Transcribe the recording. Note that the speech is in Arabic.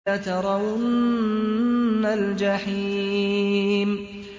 لَتَرَوُنَّ الْجَحِيمَ